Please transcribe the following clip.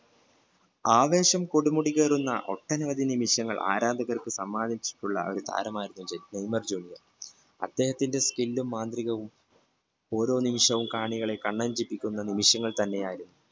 ആവേശം കൊടുമുടി കേറുന്ന ഒട്ടന അനുമതി നിമിഷങ്ങൾ ആരാധകർക്ക് സമ്മാനിച്ചിട്ടുള്ള ഒരു താരം ആയിരുന്നു നെയ്മർ junior അദ്ദേഹത്തിന്റെ skill മാതൃകവും കാണികളെ ഓരോ നിമിഷവും കണ്ണ് ചിമ്മിക്കുന്ന നിമിഷങ്ങൾ തന്നെയായിരുന്നു